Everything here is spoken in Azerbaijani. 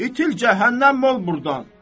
İtil cəhənnəm ol burdan!